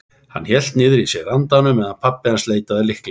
Hann hélt niðri í sér andanum meðan pabbi hans leitaði að lyklinum.